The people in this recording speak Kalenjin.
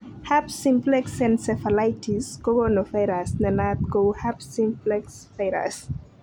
Herpes simplex encephalitis kokonu virus nenaat kou herpes simplex virus.